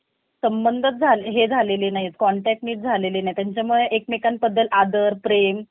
कसंय job मध्ये sir आपल्याला payment असलं तर काही bonus भेटतं. काही अशी~ अशी job आहे का sir?